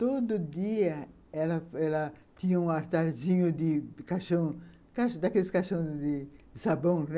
Todo dia, ela tinha um atardinho daqueles caixões de sabão.